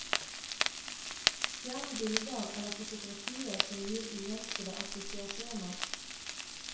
Fjern bilder eller fotografier som gir uønskede assosiasjoner.